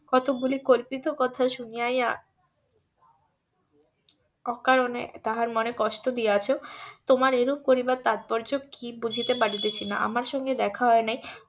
অত গুলি কল্পিত কথা শুনিয়াই অকারণে তাহার মনে কষ্ট দিয়াছ তোমার এরূপ করিবার তাৎপর্য কি বুঝিতে পারিতেছি না আমার সঙ্গে দেখা হয় নাই